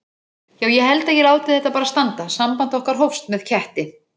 Já ég held ég láti þetta bara standa: samband okkar hófst með ketti.